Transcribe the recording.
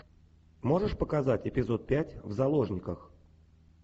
можешь показать эпизод пять в заложниках